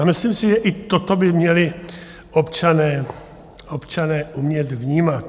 A myslím si, že i toto by měli občané umět vnímat.